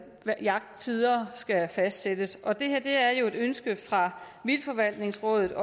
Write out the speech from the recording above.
jagttider skal fastsættes og det er jo også et ønske fra vildtforvaltningsrådet